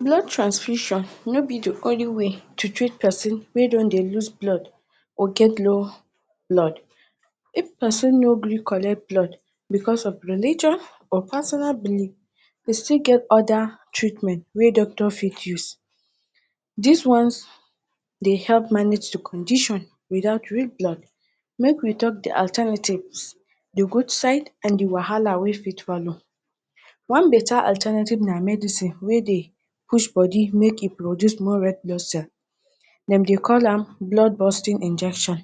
Blood transfusion no be de only way to treat person wey don dey loose blood or get low blood. If person no gree collect blood because of religion or personal believe we still get other treatment wey doctors fit use dis one de help manage de condition without real blood. make we talk de alternatives de good side and de wahala wey fit follow. One beta alternative na medicine wey de push body make e produce more red blood cell dem de call am blood bursting injection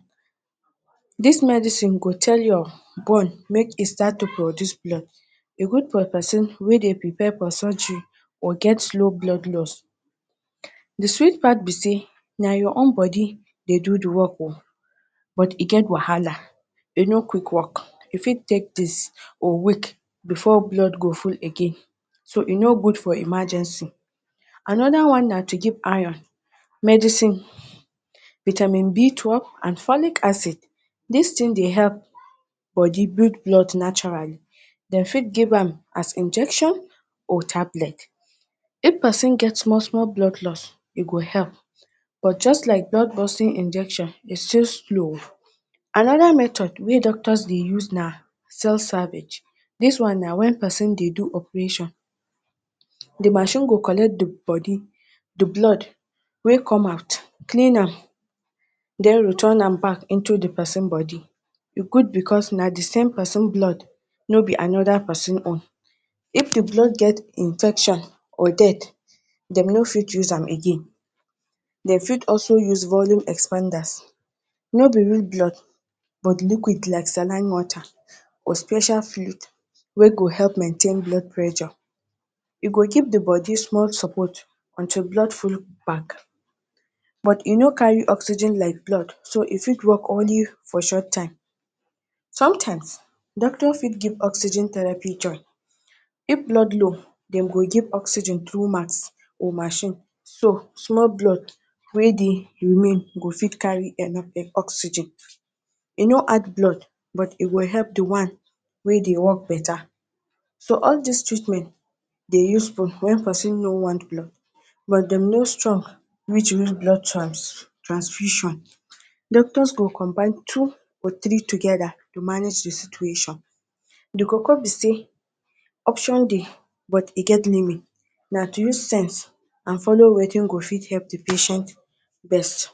dis medicine go tell your bone make e start to de produce blood e good for person wey de prepare for surgery or get slow blood lost. De sweet part be sey na your own body de do de work o but e get wahala e no quick work e fit take days or week before blood go full again so e no good for emergency. another one na to give iron medicine, vitamin B twelve and folic acid dis thing dey help body build blood naturally dem fit give am as injection, or tablet. If person get small small blood lost, e go help but just like dat blood bursting injection e fit slow o. another method wey doctors dey use na cell salvage dis one na when person de do operation de machine go collect de body, d blood wey come out, clean am den return am back into de person body e good because na same person blood no be another person own. if de blood get infection or dirt dem no fit use am again. dem fit also use volume expanders no be real blood but liquid like saline water or special fluid wey go help maintain blood pressure e go give d e body small support until blood full bag but e no carry oxygen like blood so e fit work only for short time. sometimes doctors fit give oxygen therapy join if blood low dem go give oxygen through mouth or machine so small blood wey de remain go fit carry oxygen. e no add blood but e go help de one wey dey work beta so all dis treatment dey useful wen person no wan use blood but dem no strong reach real blood transfusion. doctors go combine two to three together manage de situation de koko be sey option dey but e get limit na to use sense and follow wetin fit help de patient best